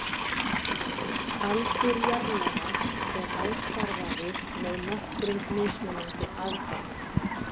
Aldur jarðlaga er ákvarðaður með nokkrum mismunandi aðferðum.